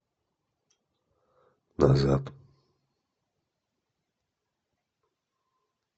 назад